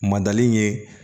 Madali ye